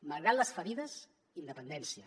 malgrat les ferides independència